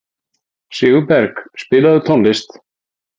Sigurberg, spilaðu tónlist.